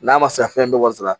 N'a ma se ka fɛn bɛɛ wasara